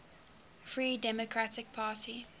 free democratic party